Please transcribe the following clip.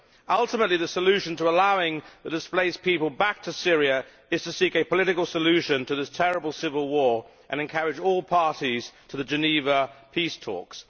Ultimately the solution to allowing the displaced people back to Syria is to seek a political solution to this terrible civil war and encourage all parties to the Geneva peace talks.